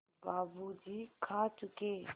बाबू जी खा चुके